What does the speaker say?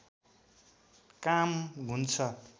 काम हुन्छ